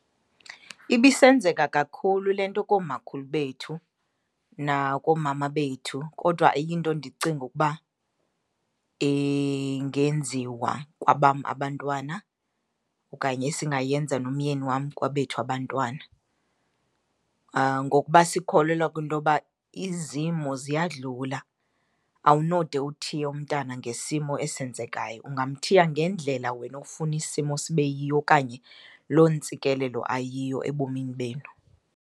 Ibisenzeka kakhulu le nto koomakhulu bethu nakoomama bethu, kodwa ayinto endicinga ukuba ingenziwa kwabam abantwana okanye esingayenza nomyeni wam kwabethu abantwana. Ngokuba sikholelwa kwintoba izimo ziyadlula, awunode uthiye umntana ngesimo esenzekayo, ungamthiya ngendlela wena ofuna isimo sibe yiyo okanye loo ntsikelelo ayiyo ebomini benu.